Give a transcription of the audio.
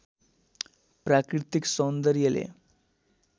प्राकृतिक सौन्दर्यले